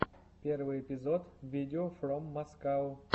первый эпизод видеофроммаскау